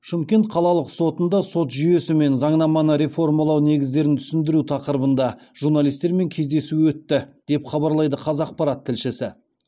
шымкент қалалық сотында сот жүйесі мен заңнаманы реформалау негіздерін түсіндіру тақырыбында журналистермен кездесу өтті деп хабарлайды қазақпарат тілшісі